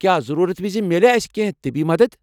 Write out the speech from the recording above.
کیٚا ضروٗرت وِزِ میلِیا اسہِ كینہہ طبی مدتھ ؟